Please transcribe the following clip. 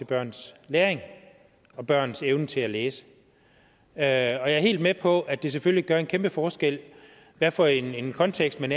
børns læring og børns evne til at læse jeg er er helt med på at det selvfølgelig gør en kæmpe forskel hvad for en kontekst man